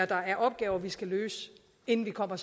der er opgaver vi skal løse inden vi kommer